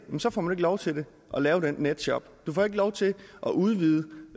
så får de ikke lov til at lave den netshop du får ikke lov til at udvide